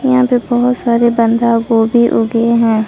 यहां पे बहोत सारे बंदा गोभी उगे हैं।